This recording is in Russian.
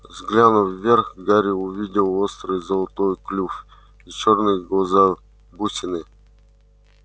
взглянув вверх гарри увидел острый золотой клюв и чёрные глаза-бусины